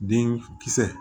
Den kisɛ